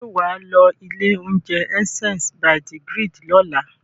Ṣé wà á lọ ilé-oúnjẹ Essence by the Grid lọ́la?